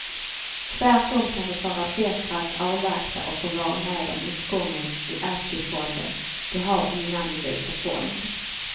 Tvärtom kan det vara bättre att avvakta och få vara med om uppgången i aktiefonden du har innan du byter fond.